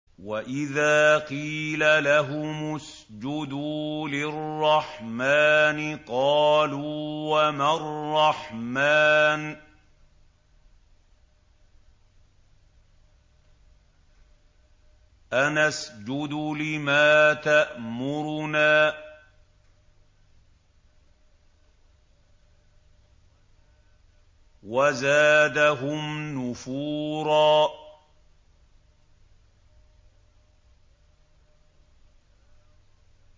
وَإِذَا قِيلَ لَهُمُ اسْجُدُوا لِلرَّحْمَٰنِ قَالُوا وَمَا الرَّحْمَٰنُ أَنَسْجُدُ لِمَا تَأْمُرُنَا وَزَادَهُمْ نُفُورًا ۩